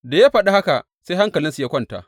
Da ya faɗi haka sai hankalinsu ya kwanta.